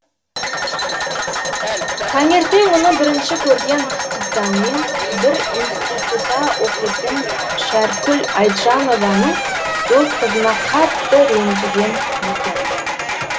таңертең мұны бірінші көрген қызданмен бір институтта оқитын шәркүл айтжанованың дос қызына қатты ренжіген екен